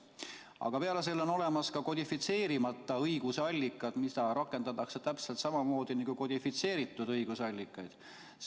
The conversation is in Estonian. Aga peale nende on olemas ka kodifitseerimata õigusallikad, mida rakendatakse täpselt samamoodi nagu kodifitseeritud õigusallikaid.